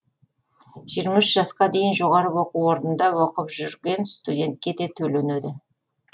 жиырма үш жасқа дейін жоғары оқу орнында оқып жүрген студентке де төленеді